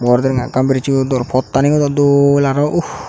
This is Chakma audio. mor denga ekkan birissoi dor pottaniyo dw dol arw uu.